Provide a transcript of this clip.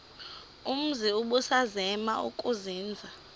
umzi ubusazema ukuzinza